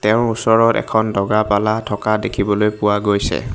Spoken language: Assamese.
তেওঁৰ ওচৰত এখন দগা পাল্লা থকা দেখিবলৈ পোৱা গৈছে।